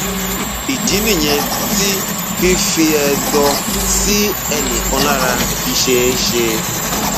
ìdí nìyẹn tí fífi ẹdọ sí ẹnì kan lára fi ṣeé ṣe